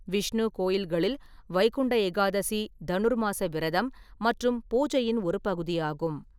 விஷ்ணு கோயில்களில் வைகுண்ட ஏகாதசி தனுர்மாஸ விரதம் மற்றும் பூஜையின் ஒரு பகுதியாகும்.